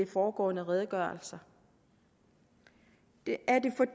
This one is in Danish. foregående redegørelser er